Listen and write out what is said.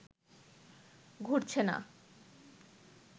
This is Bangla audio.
ঘুরছে না